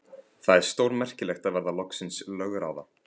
Það er stórmerkilegt að verða loksins lögráða.